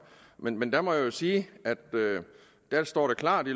men men der må jeg jo sige at der står klart i